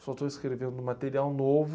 Só estou escrevendo material novo.